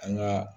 An ka